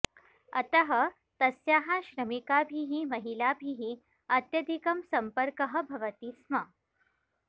अतः तस्याः श्रमिकाभिः महिलाभिः अत्यधिकं सम्पर्कः भवति स्म